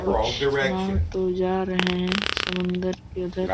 कुछ नाव तो जा रहे हैं समुद्र के उधर।